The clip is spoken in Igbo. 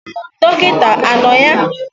Dọkịta anọ ya?